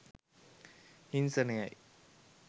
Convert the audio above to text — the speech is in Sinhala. හිංසනයයි.